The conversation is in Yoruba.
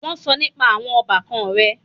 Wọ́n sọ nípa àwọn ọbàkan rẹ̀.